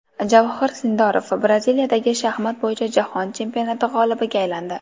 Javohir Sindorov Braziliyadagi shaxmat bo‘yicha Jahon chempionati g‘olibiga aylandi.